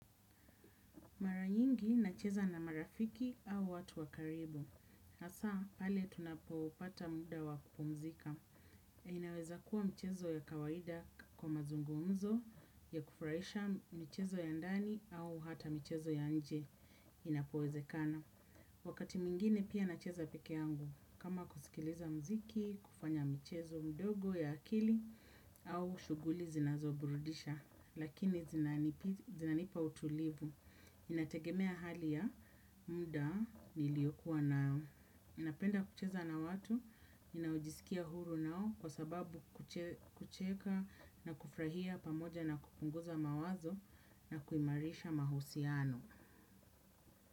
Mara nyingi nacheza na marafiki au watu wa karibu. Hasaa pale tunapopata muda wa kupomzika. Inaweza kuwa mchezo ya kawaida kwa mazungumzo ya kufurahisha, michezo ya ndani au hata michezo ya nje inapowezekana. Wakati mwingine pia nacheza pekee yangu. Kama kusikiliza muziki, kufanya mchezo mdogo ya akili au shughuli zinazoburudisha. Lakini zinanipa utulivu. Inategemea hali ya muda niliyokuwa nao. Napenda kucheza na watu, ninaojisikia huru nao kwa sababu kucheka na kufurahia pamoja na kupunguza mawazo na kuimarisha mahusiano.